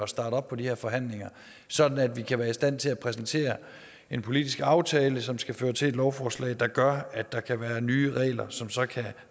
starte op på de her forhandlinger sådan at vi kan være i stand til at præsentere en politisk aftale som skal føre til et lovforslag der gør at der kan være nye regler som så kan